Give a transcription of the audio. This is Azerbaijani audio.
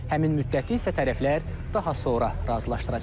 Həmin müddəti isə tərəflər daha sonra razılaşdıracaq.